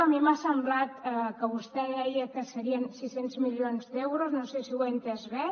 a mi m’ha semblat que vostè deia que serien sis cents milions d’euros no sé si ho he entès bé